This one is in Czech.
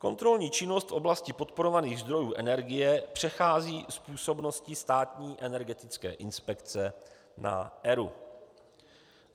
Kontrolní činnost v oblasti podporovaných zdrojů energie přechází z působnosti Státní energetické inspekce na ERÚ.